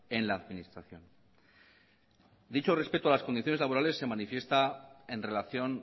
en la administración dicho respeto a las condiciones laborales se manifiesta en relación